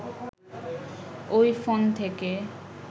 ওই ফোন থেকে